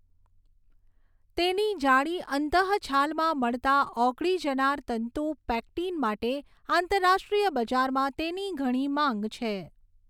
તેની જાડી અંતઃછાલમાં મળતા ઓગળી જનાર તંતુ પેક્ટીન માટે આંતરરાષ્ટ્રીય બજારમાં તેની ઘણી માંગ છે.